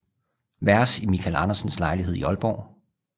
Vers i Michael Andersens lejlighed i Aalborg